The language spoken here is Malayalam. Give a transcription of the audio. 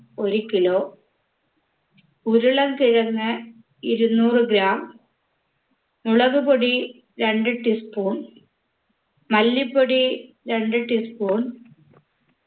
ഒരു kilo ഉരുളക്കിഴങ്ങ് ഇരുനൂറ് gram മുളകുപൊടി രണ്ട് tea spoon മല്ലിപൊടി രണ്ട് tea spoon